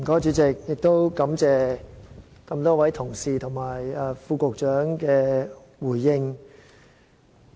主席，我感謝多位同事和局長的回應。